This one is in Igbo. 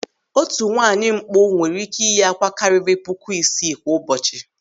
Otu nwaanyị mkpụ nwere ị́kẹ́ iyi àkwá karịrị puku isii kwa ụbọchị.